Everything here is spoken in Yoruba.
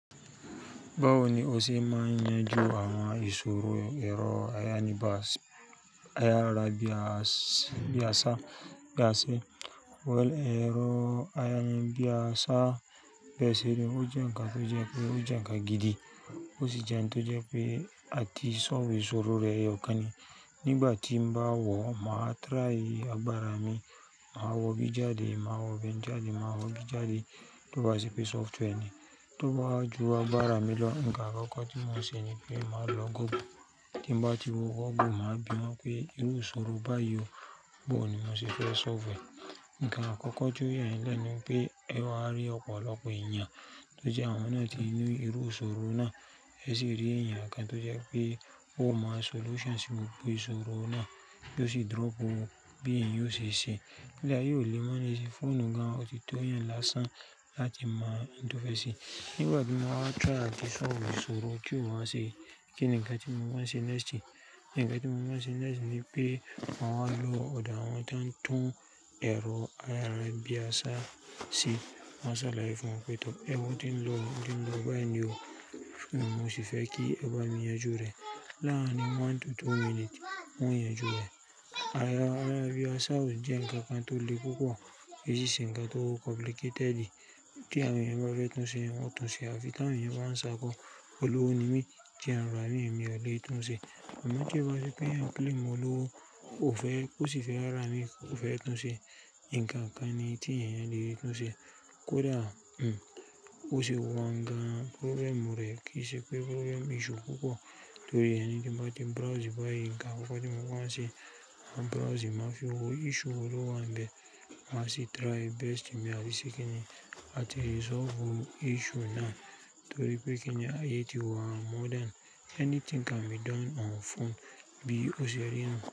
Báwo ni o ṣe máa yanjú àwọn ìṣòro ẹ̀rọ ayárabíàṣá? Ẹ̀rọ ayárabíàṣá bẹ́ẹ̀ sì ni ó jẹ́ ǹkan tó jẹ́ pé ó jẹ́ ǹkan gidi. Ó sì jẹ́ ǹkan tó jẹ́ pé a ti sọlve ìṣòro rẹ̀ eyọkàn ni. Nígbà tí bá wọ̀, màá try agbára mi. Màá wo bí i jáde, màá wo bí i ń jáde, màá wo bí i jáde tó bá ṣe pé software ni. Tó bá ju agbára mi lọ, ǹkan àkọ́kọ́ tí mò ń ṣe ni pé màá lọ Google. Kin bà tí mo wọ Google, màá bìwọ̀n pé irú ìṣòro báyìí bọ̀ ni mo ṣì fẹ́ sọlve e. Ǹkan àkọ́kọ́ tí ó yẹ nílẹ̀ ni pé ẹ ó ha rí ọ̀pọ̀lọpọ̀ ènìyàn tó jẹ́ àwọn náà ti ní irú ìṣòro náà, ẹ sì rí ènìyàn kan tó jẹ́ pé ó mọ solution sí gbogbo ìṣòro náà tó sì drop ó bí èèyàn o ṣe ṣe. Ile aye o lè mọ̀ ní sinyi, fóònù gan-an o ti tò eyàn lásán láti mo ohun to fẹ́ ṣe. Nígbà tí mo wa tirai àti sọfu ìṣòro ti ó wá ṣe, kí ni ǹkan tí mo máa ṣe nesti? Ǹnkan tí mo máa ṣe nesti ni pé màá lọ ọ̀do awọ́n to n tún ẹ̀rọ ayárabíàṣá se. Maa ṣàlàyé fún wọn pé tó ẹ́ wo o ti ń lọ, ó ti ń lọ báyìí ni o. Fóònù mi mo ṣì fẹ́ kí ẹ bá mi yanjú rẹ̀. Láàárín one to two minutes, won o yanjú rẹ̀. Ayárabíàṣá ò jẹ́ ǹkan kan tó le púpọ̀. Èyí n se ǹkan tó complicatedi kí àwọn èèyàn bá fẹ́ tún ṣe, wọn o tún ṣe ẹ. À fi tí àwọn èèyàn bá ń ṣàkọ, olówó ni mí, tí à ń rà imí, èmi ò lè tún ṣe. Ki ma n jẹ́ oun rere pé eeyan claim olówó, ó fẹ́, ó sì fẹ́ rà mí, kó fẹ́ tún ṣe. Ǹkan kan ni tí èèyàn le tún ṣe. Kódà, hm, o sì wọ̀n gan-an problem rẹ̀ kì í ṣe pé problem issue púpọ̀. Torí ẹni tí ń bá ti browse báyìí, ǹkan àkọ́kọ́ tí mò ń ṣe, ma browse, màá fi wo, issue wó lo wa ń bẹ. Màá sì try best mi làti ṣe kí ni, la ti resolve issue náà, torí pé kí ni, ayé ti wa, modern. Anything can be done on phone bí o ṣe rí nuu.